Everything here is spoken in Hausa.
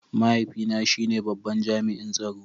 Mahaifina shine babban jami'in tsaro.